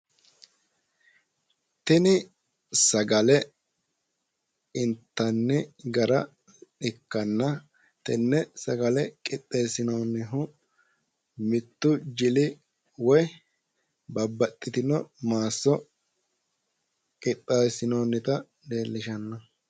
Tini sagale intanni gara ikkanna tenne sagale qixxeessinoonnihu mittu jili woyi babbaxxitino maasso qixxeessinoonnita leellishshanno.